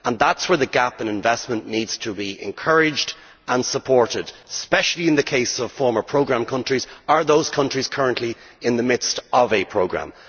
That is where measures to address the gap in investment need to be encouraged and supported especially in the case of former programme countries, or those countries currently in the midst of a programme.